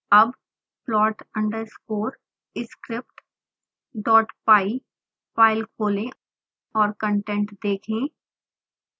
अब plot underscore scriptpy file खोलें और कंटेंट देखें